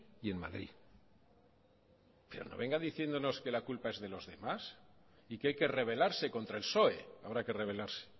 y en madrid pero no venga diciéndonos que la culpa es de los demás y que hay que revelarse contra el psoe habrá que revelarse